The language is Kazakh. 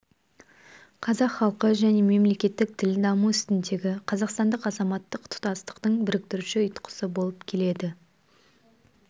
қазақ халқы және мемлекеттік тіл даму үстіндегі қазақстандық азаматтық тұтастықтың біріктіруші ұйытқысы болып келеді